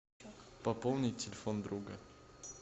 пополнить телефон друга